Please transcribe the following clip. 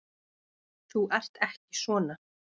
Þú ert ekki svona.